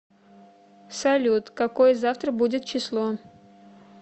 салют какое завтра будет число